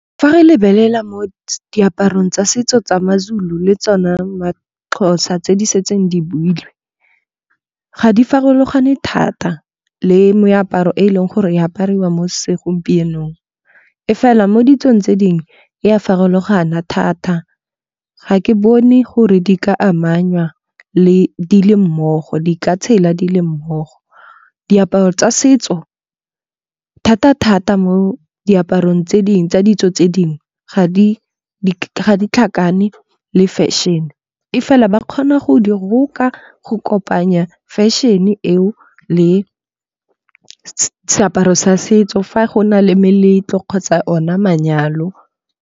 Fa re lebelela mo diaparong tsa setso tsa ma-Zulu le tsona ma-Xhosa tse di setseng di builwe. Ga di farologane thata le meaparo e leng gore e apariwa mo segompienong. E fela mo ditsong tse dingwe e a farologana thata ga ke bone gore di ka amanya le di le mmogo di ka tshela di le mmogo. Diaparo tsa setso thata-thata mo diaparong tsa ditso tse dingwe ga di tlhakane le fashion-e. E fela ba kgona go di roka go kopanya fashion-e eo le seaparo sa setso fa go na le meletlo kgotsa ona manyalo.